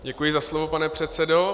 Děkuji za slovo, pane předsedo.